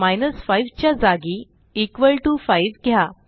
5 च्या जागी 5 घ्या